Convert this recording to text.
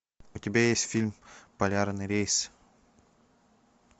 у тебя есть фильм полярный рейс